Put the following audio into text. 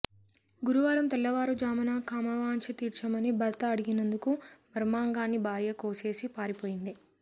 గురువారం తెల్లవారుజామున కామవాంఛ తీర్చమని భర్త అడిగినందుకు మర్మాంగాన్ని భార్య కోసేసి పారిపోయింది